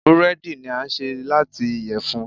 búredì ni a ṣe lati iyẹfun.